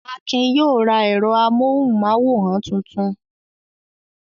Akin yóò ra ẹ̀rọ amóhùmáwòhán tuntun!